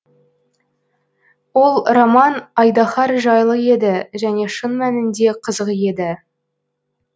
ол роман айдаһар жайлы еді және шын мәнінде қызық еді